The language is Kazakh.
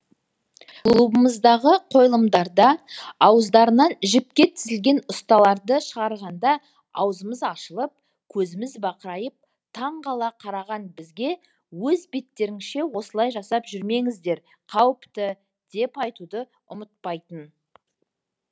клубымыздағы қойылымдарында ауыздарынан жіпке тізілген ұстараларды шығарғанда аузымыз ашылып көзіміз бақырайып таңғала қараған бізге өз беттеріңізше осылай жасап жүрмеңіздер қауіпті деп айтуды ұмытпайтын